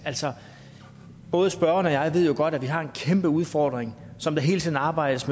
altså både spørgeren og jeg ved jo godt at vi har en kæmpe udfordring som der hele tiden arbejdes